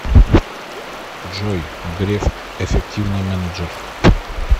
джой греф эффективный менеджер